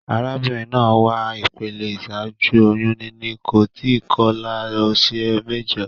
Arábínrin naa wà ìpele ìsájú oyún níní, kò tí kolá òsè méjo